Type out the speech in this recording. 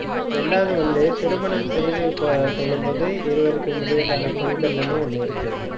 இரண்டாவது வந்து, திருமணம் செய்து ஆஹ் கொள்ளும்போது இருவருக்கும் இடையிலான புரிதல்னு ஒண்ணு இருக்கு